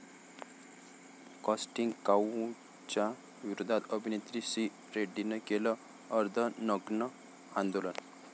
casting काऊचच्या विरोधात अभिनेत्री श्री रेड्डीने केलं अर्धनग्न आंदोलन